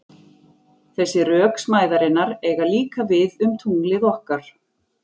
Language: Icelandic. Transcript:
Þessi rök smæðarinnar eiga líka við um tunglið okkar.